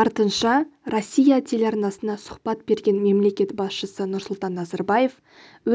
артынша россия телеарнасына сұхбат берген мемлекет басшысы нұрсұлтан назарбаев